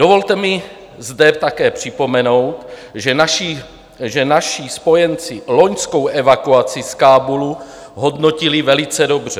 Dovolte mi zde také připomenout, že naši spojenci loňskou evakuaci z Kábulu hodnotili velice dobře.